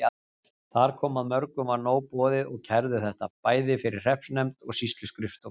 Þar kom að mörgum var nóg boðið og kærðu þetta, bæði fyrir hreppsnefnd og sýsluskrifstofu.